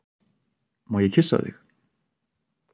Má ég kyssa þig?